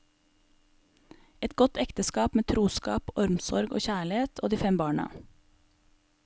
Et godt ekteskap med troskap, omsorg og kjærlighet, og de fem barna.